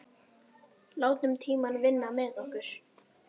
Látum tímann vinna með okkur.